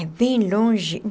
É bem longe.